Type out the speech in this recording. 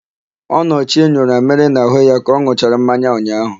Ọnọchie nyụrụ amịrị n'àhụ́ ya ka ọ n̄ụchara mmanya ụnyaahụ.